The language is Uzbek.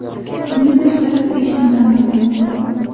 Bundan tashqari u ishni ham yo‘qotdi.